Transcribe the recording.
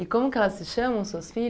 E como que elas se chamam, suas